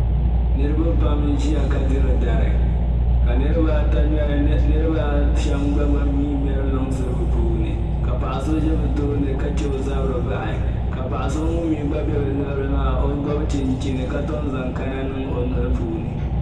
Niriba pam n-Ʒiya ka diri dari ka niriba ata niriba a shɛm gba mii ŋmeri luŋsi bɛ puuni ka paɣ'so za bɛ tooni ka chɛ o zabiri bahi ka paɣ'so ŋun mii gba be bɛ luɣili maa o gɔbu chinchini ka tom zaŋ kana niŋ o noli puuni